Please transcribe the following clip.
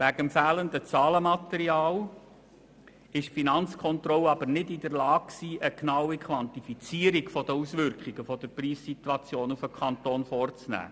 Wegen des fehlenden Zahlenmaterials war die Finanzkontrolle jedoch nicht in der Lage, eine genaue Quantifizierung der Auswirkungen der Preissituation auf den Kanton vorzunehmen.